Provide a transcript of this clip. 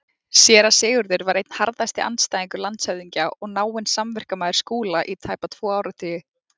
Séra Sigurður var einn harðasti andstæðingur landshöfðingja og náinn samverkamaður Skúla í tæpa tvo áratugi.